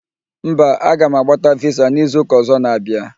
Mba, a ga m agbata visa n'izu ụka ọzọ na-abịa